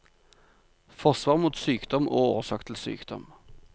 Forsvar mot sykdom og årsak til sykdom.